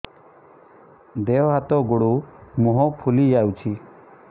ଦେହ ହାତ ଗୋଡୋ ମୁହଁ ଫୁଲି ଯାଉଛି